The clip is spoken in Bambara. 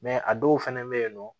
a dɔw fɛnɛ bɛ yen nɔ